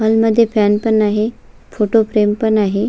Hall मध्ये fan पण आहे फोटो फ्रेम पण आहे.